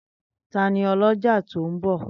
Tani ọlọ́jà tó ń bọ̀?